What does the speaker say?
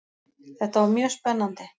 Þetta var mjög spennandi.